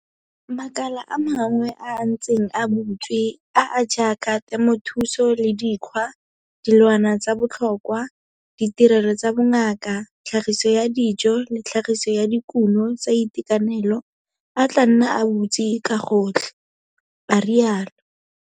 Makala a mangwe a a ntseng a butswe, a a jaaka temothuo le dikgwa, dilwana tsa botlhokwa, ditirelo tsa bongaka, tlhagiso ya dijo le tlhagiso ya dikuno tsa itekanelo, a tla nna a butswe ka gotlhe, a rialo.